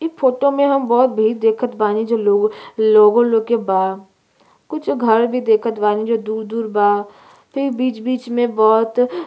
इ फोटो में हम बहुत भीड़ देखत बानी जो लोग लोगों लोग के बा। कुछ घर भी देखत बानी जो दूर- दूर बा। फिर बीच-बीच में बोहोत --